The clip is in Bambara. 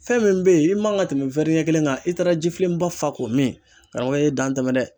Fɛn min bɛ yen, i man ka tɛmɛ ɲɛ kelen kan i taara jifilenba fa k'o min, karamɔgɔkɛ, i ye dan tɛmɛ dɛ!